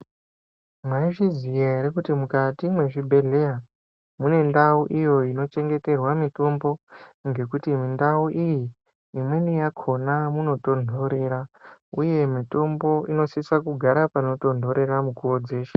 Maizviziya ere kuti mukati mwezvibhedhlera mune ndau iyo ino chengeterwa mitombo ngekuti ndau iyi imweni yakona inotondorera uye mitombo inosisa kugara panotondorera mukuwo dzeshe .